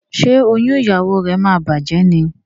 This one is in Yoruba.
Ṣe oyún ìyàwó rẹ má bàjé ní?